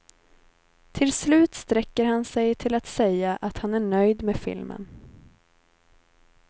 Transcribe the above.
Till slut sträcker han sig till att säga att han är nöjd med filmen.